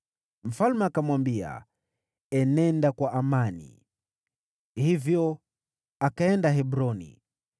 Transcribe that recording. Mfalme akamwambia, “Enenda kwa amani.” Hivyo akaenda Hebroni.